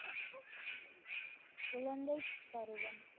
குழந்தைப்பருவம்